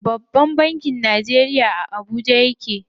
Babban bankin Najeriya a garin Abuja yake.